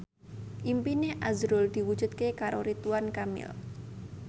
impine azrul diwujudke karo Ridwan Kamil